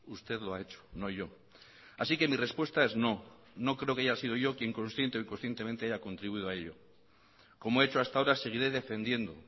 usted lo ha hecho no yo así que mi respuesta es no no creo que haya sido yo quien consciente o inconscientemente haya contribuido a ello como he hecho hasta ahora seguiré defendiendo